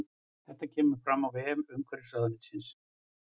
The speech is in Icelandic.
Þetta kemur fram á vef umhverfisráðuneytisins